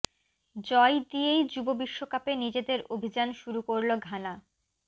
জয় দিয়েই যুব বিশ্বকাপে নিজেদের অভিযান শুরু করল ঘানা